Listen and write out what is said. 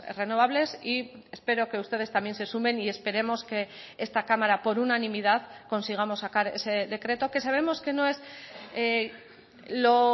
renovables y espero que ustedes también se sumen y esperemos que esta cámara por unanimidad consigamos sacar ese decreto que sabemos que no es lo